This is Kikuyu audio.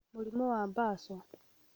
Mũrimũ wa mbaco: